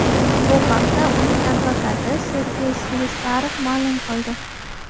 Bu haqda uning advokati Sergey Slesarev ma’lum qildi .